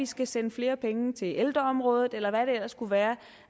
skal sende flere penge til ældreområdet eller hvad der ellers kunne være